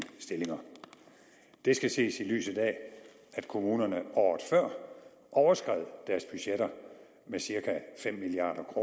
stillinger det skal ses i lyset af at kommunerne året før overskred deres budgetter med cirka fem milliard